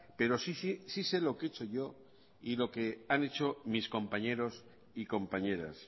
pero sí se lo que he hecho yo y lo que han hecho mis compañeros y compañeras